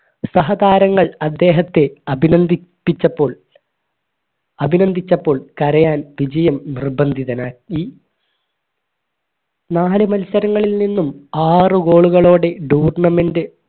സഹതാരങ്ങൾ അദ്ദേഹത്തെ അഭിനന്ദിപ്പിച്ചപ്പോൾ അഭിനന്ദിച്ചപ്പോൾ കരയാൻ വിജയം നിർബന്ധിതനായി നാല് മത്സരങ്ങളിൽ നിന്നും ആറ് goal കളോട് tournament